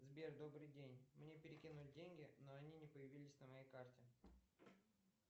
сбер добрый день мне перекинули деньги но они не появились на моей карте